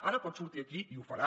ara pot sortir aquí i ho farà